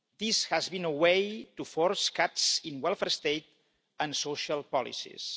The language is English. This has been a way to force cuts in welfare state and social policies.